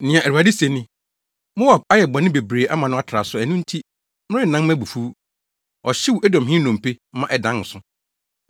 Nea Awurade se ni: “Moab ayɛ bɔne bebree ama no atra so, ɛno nti, merennan mʼabufuw. Ɔhyew Edomhene nnompe, maa ɛdan nsõ.